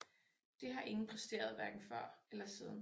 Det har ingen præsteret hverken før eller siden